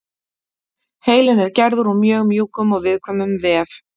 Heilinn er gerður úr mjög mjúkum og viðkvæmum vef.